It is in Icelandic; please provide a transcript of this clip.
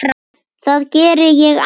Það geri ég aldrei